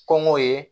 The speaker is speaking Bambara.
Kɔngɔ ye